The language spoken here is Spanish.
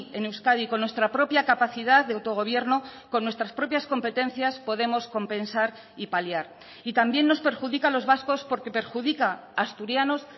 en euskadi con nuestra propia capacidad de autogobierno con nuestras propias competencias podemos compensar y paliar y también nos perjudica a los vascos porque perjudica a asturianos